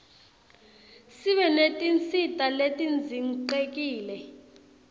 sibe netinsita letidzinqekile